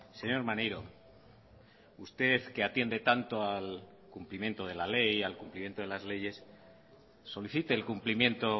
señor maneiro usted que atiende tanto al cumplimiento de la ley al cumplimiento de las leyes solicite el cumplimiento